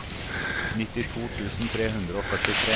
nittito tusen tre hundre og førtitre